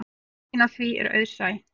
Skýringin á því er auðsæ.